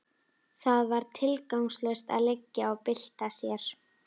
Það var tilgangslaust að liggja og bylta sér.